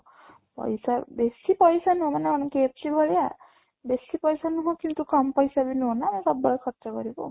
ପଇସା ବେଶୀ ପଇସା ନୁହଁ ମାନେ ଆମେ KFC ଭଳିଆ ବେଶୀ ପଇସା ନୁହଁ କିନ୍ତୁ କମ ପାଇସା ବି ନୁହଁ ନା ସବୁବେଳେ ଖର୍ଚ କରିବୁ